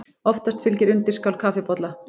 Oftast fylgir undirskál kaffibolla.